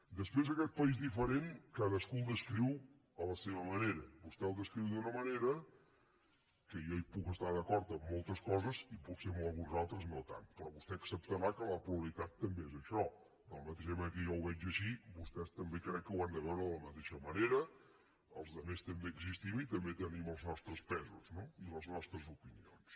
després aquest país diferent cadascú el descriu a la seva manera vostè el descriu d’una manera que jo puc hi estar d’acord en moltes coses i potser en algunes altres no tant però vostè acceptarà que la pluralitat també és això de la mateixa manera que jo ho veig així vostès també crec que ho han de veure de la mateixa manera els altres també existim i també tenim els nostres pesos no i les nostres opinions